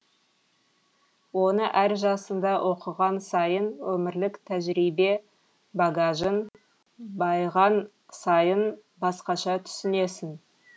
оны әр жасыңда оқыған сайын өмірлік тәжірибе багажың байыған сайын басқаша түсінесің